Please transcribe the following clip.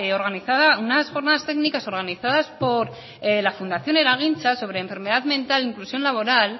organizada unas jornadas técnicas organizadas por la fundación eragintza sobre enfermedad mental e inclusión laboral